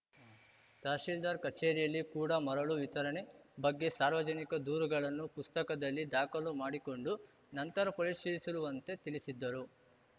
ತಹಶೀಲ್ದಾರ್‌ ಕಚೇರಿಯಲ್ಲಿ ಕೂಡ ಮರಳು ವಿತರಣೆ ಬಗ್ಗೆ ಸಾರ್ವಜನಿಕ ದೂರುಗಳನ್ನು ಪುಸ್ತಕದಲ್ಲಿ ದಾಖಲು ಮಾಡಿಕೊಂಡು ನಂತರ ಪರಿಶೀಲಿಸುಲುವಂತೆ ತಿಳಿಸಿದ್ದರು